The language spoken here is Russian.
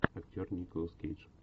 актер николас кейдж